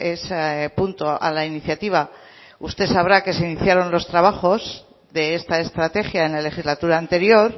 ese punto a la iniciativa usted sabrá que se iniciaron los trabajos de esta estrategia en la legislatura anterior